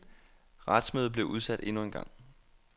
Retsmødet blev udsat endnu en gang.